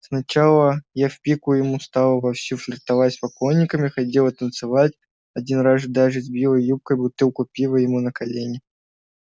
сначала я в пику ему стала вовсю флиртовать с поклонниками ходила танцевать один раз даже сбила юбкой бутылку пива ему на колени